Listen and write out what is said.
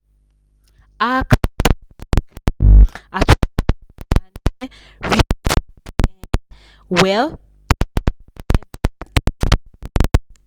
he well.